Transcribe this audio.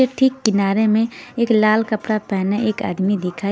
ए ठीक किनारे में एक लाल कपरा पहने एक आदमी देखा--